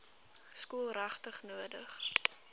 skool regtig nodig